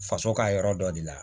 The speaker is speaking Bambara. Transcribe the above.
Faso ka yɔrɔ dɔ de la